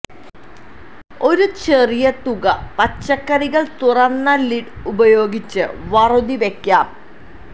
ഒരു ചെറിയ തുക പച്ചക്കറികൾ തുറന്ന ലിഡ് ഉപയോഗിച്ച് വറുതി വയ്ക്കാം